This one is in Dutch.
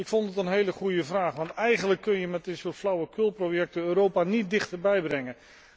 Ik vond het een hele goede vraag, want eigenlijk kun je met dit soort flauwekulprojecten Europa niet dichterbij brengen.